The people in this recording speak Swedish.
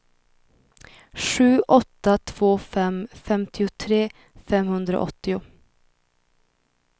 sju åtta två fem femtiotre femhundraåttio